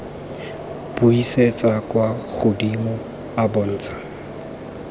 buisetsa kwa godimo a bontsha